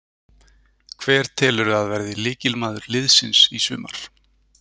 Hver telurðu að verði lykilmaður liðsins í sumar?